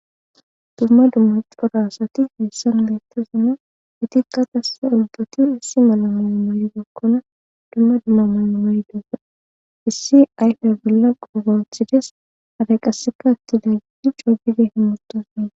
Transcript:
dumma dummaxporo asati hessan beettasona hetikka qasse olbati issi mala mala maaye gekkona dumma dumma manamay duga issi ayfe billa qogoothides haraqasseka atti daggidi coobide himmotosie